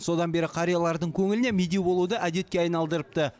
содан бері қариялардың көңіліне медеу болуды әдетке айналдырыпты